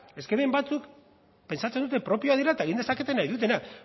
eske hemen batzuk pentsatzen dute propioak direla eta egin dezakete nahi dutena